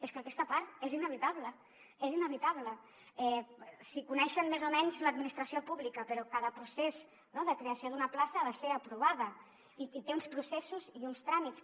és que aquesta part és inevitable és inevitable si coneixen més o menys l’administració pública però cada procés de creació d’una plaça ha de ser aprovada i té uns processos i uns tràmits